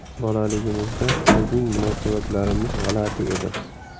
Bolaligimizda bizning munosabatlarimiz g‘alati edi.